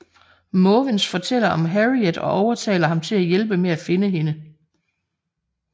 Måvens fortæller om Harriet og overtaler ham til at hjælpe med at finde hende